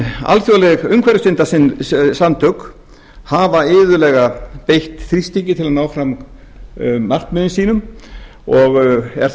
alþjóðleg umhverfisverndarsamtök hafa iðulega beitt þrýstingi til að ná fram markmiðum sínum og er